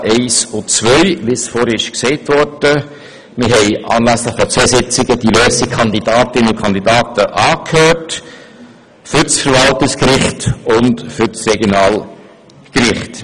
Wir haben anlässlich zweier Sitzungen diverse Kandidatinnen und Kandidaten angehört, sowohl für das Verwaltungsgericht wie auch für das Regionalgericht.